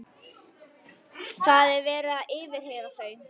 Það er verið að yfirheyra þau.